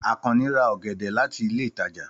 Àkànnì ra ọ̀gẹ̀dẹ̀ láti ilé ìtajà.